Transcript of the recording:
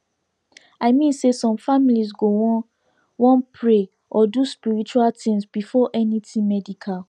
i mean say some families go wan wan pray or do spiritual things before anything medical